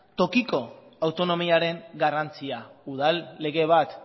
tokiko autonomiaren garrantzia udal lege bat